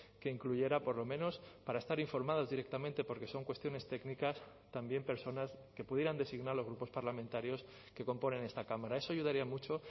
que incluyera por lo menos para estar informados directamente porque son cuestiones técnicas también personas que pudieran designar los grupos parlamentarios que componen esta cámara eso ayudaría mucho